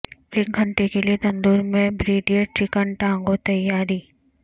ایک گھنٹے کے لئے تندور میں بریڈیڈ چکن ٹانگوں تیاری